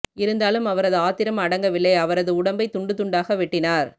இருந்தாலும் அவரது ஆத்திரம் அடங்கவில்லை அவரது உடம்பை துண்டு துண்டாக வெட்டினார்